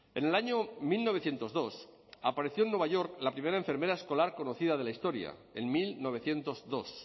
en el año mil novecientos dos apareció en nueva york la primera enfermera escolar conocida de la historia en mil novecientos dos